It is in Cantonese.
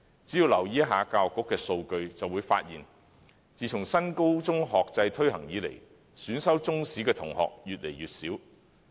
只要留意一下教育局的數據，便會發現自新高中學制推行以來，選修中史的同學越來越少。